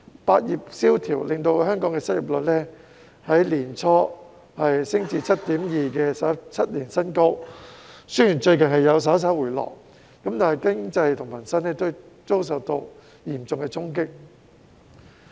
百業蕭條令香港失業率在年初升至 7.2% 的17年新高，雖然最近數字稍為回落，但經濟及民生均受到嚴重的衝擊。